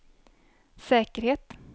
säkerhet